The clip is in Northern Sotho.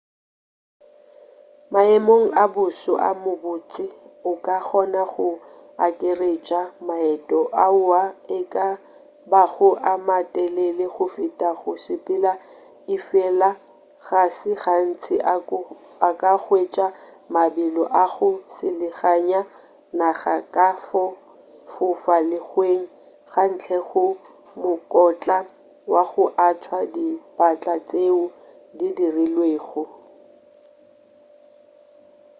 maemong a boso a mabotse o ka kgona go akaretša maeto ao e ka bago a matelele go feta go sepela efela ga se gantši o ka hwetša mabelo a go selaganya naga ka fo fofa lehlweng ka ntle ga mokotla wa go athwa ka dipatla tšeo di dirilwego